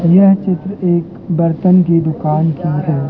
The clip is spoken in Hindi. यह चित्र एक बर्तन की दुकान की है।